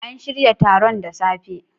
An shirya taron da safe.